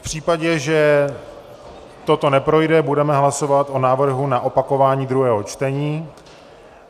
V případě, že toto neprojde, budeme hlasovat o návrhu na opakování druhého čtení.